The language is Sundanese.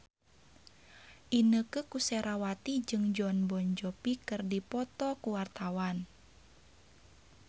Inneke Koesherawati jeung Jon Bon Jovi keur dipoto ku wartawan